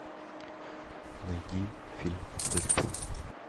найди фильм дэдпул